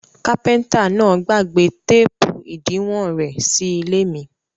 Kápẹ́ńtà náà gbàgbé téépù ìdiwọn rẹ̀ sí ilé mi.